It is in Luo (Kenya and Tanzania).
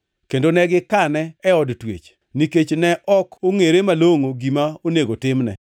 kendo ne gikane e od twech, nikech ne ok ongʼere malongʼo gima onego timne.